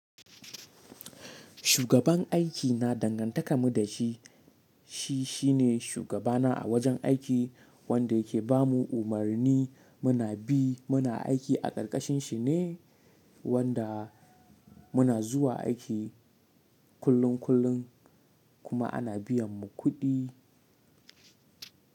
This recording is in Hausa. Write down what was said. Shugaban aiki na dangantaka mu da shi. Shi shine shugabana a wajen aiki wanda yake ba mu umarni muna bi. Muna aiki a ƙarƙashin shi ne wanda muna zuwa aiki kullun kullun kuma ana biyan mu kuɗi.